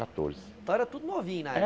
Catorze então era tudo novinho na